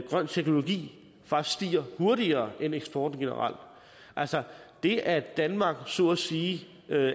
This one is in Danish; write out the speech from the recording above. grøn teknologi faktisk stiger hurtigere end eksporten generelt altså det at danmark så at sige